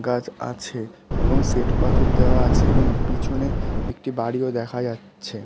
গাছ আছে এবং শ্বেতপাথর দেওয়া আছে এবং পিছনে একটি বাড়িও দেখা যাচ্ছে।